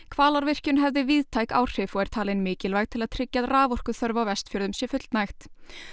Hvalárvirkjun hefði víðtæk áhrif og er talin mikilvæg til að tryggja að raforkuþörf á Vestfjörðum sé fullnægt